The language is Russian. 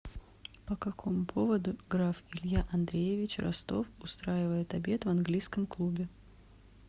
по какому поводу граф илья андреевич ростов устраивает обед в английском клубе